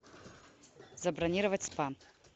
забронировать спа